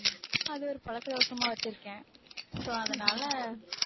அது ஒரு பழக்கதோஷமா வெச்சிருக்கேன் so அதனால